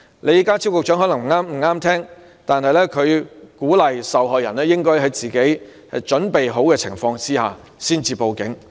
李家超局長可能不中聽。邵議員鼓勵受害人在自己作好準備的情況下才報警。